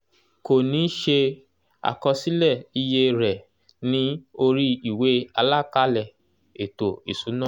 kò ní ṣe àkọsílẹ̀ iye rẹ̀ ní orí ìwé àlàkalẹ̀ ètò ìsúná